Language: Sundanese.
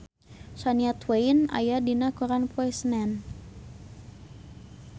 Shania Twain aya dina koran poe Senen